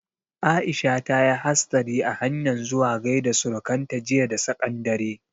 Aisha ta yi hastari a hanyan zuwa gaida surukan ta jiya da tsaƙan dare